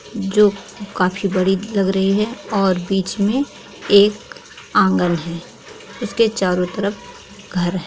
जो काफी बड़ी लग रही है और बीच मे एक आँगन है इसके चारों तरफ घर है।